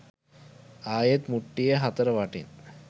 ආයෙත් මුට්ටියේ හතර වටින්